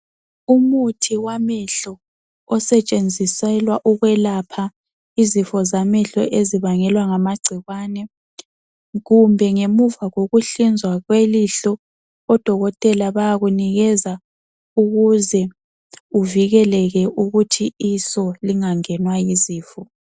Umuthi wamehlo osetshenziselwa ukwelapha izifo zamehlo ezibangelwa ngamagcikwane kumbe ngemuva kokuhlinzwa kwelihlo odokotela bayakunikeza ukuze uvikeleke ukuthi iso lingangenwa yizifo.